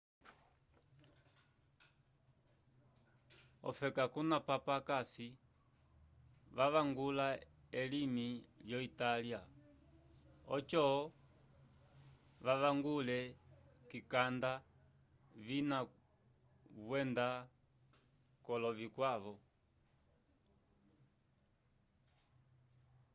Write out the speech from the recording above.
ofeka kuna papa akasi vavangula elimi yo italya ojo vavangule kikanda vina vyenda kolofe vikwavo